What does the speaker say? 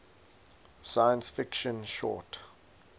science fiction short